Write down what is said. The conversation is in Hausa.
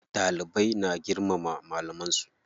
Dalibai na girmama malaman su.